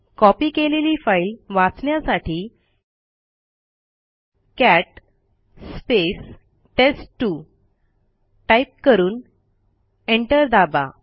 copy केलेली file वाचण्यासाठी cat टेस्ट2 टाईप करून एंटर दाबा